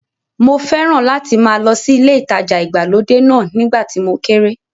Mo fẹ́ràn láti máa lọ sí ilé ìtajà ìgbàlódé náà nígbà tí mo kéré.